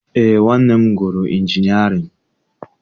Eé, nwanne m gụrụ injinịarịn